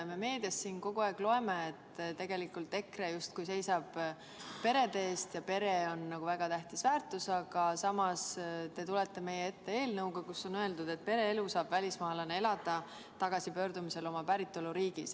Me meediast kogu aeg loeme, et tegelikult EKRE justkui seisab perede eest ja pere on nagu väga tähtis väärtus, aga samas te tulete meie ette eelnõuga, kus on öeldud, et pereelu saab välismaalane elada tagasipöördumise korral oma päritoluriiki.